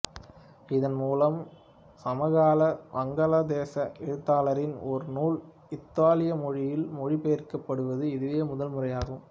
இதன் மூலம் சமகால வங்காளதேச எழுத்தாளரின் ஒரு நூல் இத்தாலிய மொழியில் மொழிபெயர்க்கப்படுவது இதுவே முதல் முறையாகும்